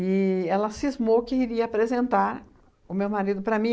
E ela cismou que iria apresentar o meu marido para mim.